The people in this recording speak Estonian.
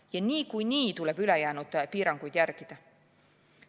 Ja niikuinii tuleb ülejäänud piiranguid järgida.